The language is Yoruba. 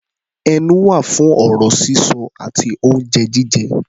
Ẹnu wà fún ọ̀rọ̀ sísọ àti oúnjẹ jíjẹ.